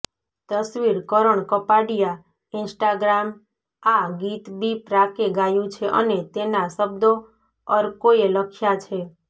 તસવીરઃ કરણ કપાડિયા ઈન્સ્ટાગ્રામઆ ગીત બી પ્રાકે ગાયું છે અને તેના શબ્દો અર્કોએ લખ્યાં છે